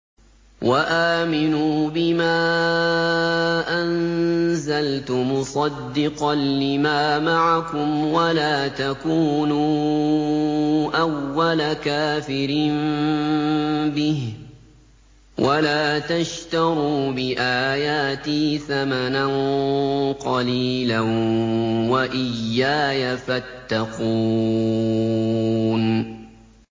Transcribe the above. وَآمِنُوا بِمَا أَنزَلْتُ مُصَدِّقًا لِّمَا مَعَكُمْ وَلَا تَكُونُوا أَوَّلَ كَافِرٍ بِهِ ۖ وَلَا تَشْتَرُوا بِآيَاتِي ثَمَنًا قَلِيلًا وَإِيَّايَ فَاتَّقُونِ